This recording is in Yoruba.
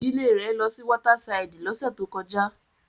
Idile re lọ si wọta siliidi lọse to kọja